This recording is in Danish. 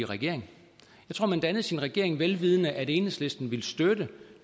regering dannede sin regering vel vidende at enhedslisten ville støtte